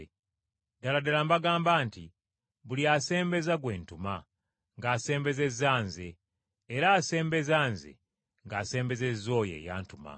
Ddala ddala mbagamba nti buli asembeza gwe ntuma, ng’asembezezza Nze, era asembeza Nze ng’asembezezza oyo eyantuma.”